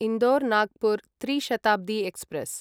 इन्दोर् नागपुर् त्रि शताब्दी एक्स्प्रेस्